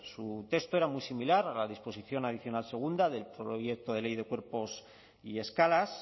su texto era muy similar a la disposición adicional segunda del proyecto de ley de cuerpos y escalas